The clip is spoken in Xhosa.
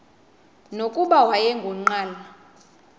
nokuba wayengu nqal